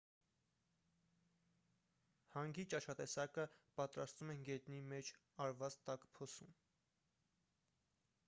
հանգի ճաշատեսակը պատրաստում են գետնի մեջ արված տաք փոսում